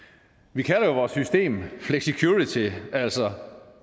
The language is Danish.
vi kalder vores system flexicurity altså